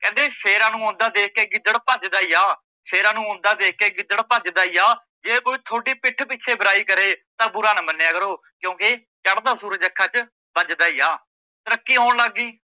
ਕਹਿੰਦੇ ਸ਼ੇਰਾਂ ਨੂੰ ਆਉਂਦਾ ਦੇਖ ਕੇ ਗਿੱਦੜ ਭੱਜਦਾ ਈ ਆ, ਸ਼ੇਰਾਂ ਨੂੰ ਆਉਂਦਾ ਦੇਖ ਕੇ ਗਿੱਦੜ ਭੱਜਦਾ ਈ ਆ ਜੇ ਕੋਈ ਤੁਹਾਡੀ ਪਿੱਠ ਪਿੱਛੇ ਬੁਰਾਈ ਕਰੇ ਤਾਂ ਬੁਰਾ ਨਾਂ ਮਨਿਆ ਕਰੋ ਕਿਓਕੀ ਚੱੜਦਾ ਸੂਰਜ ਅੱਖਾਂ ਚ ਬਜਦਾ ਈ ਆ, ਤਰੱਕੀ ਹੋਣ ਲੱਗ ਗੀ।